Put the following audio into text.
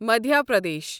Madhya Pradesh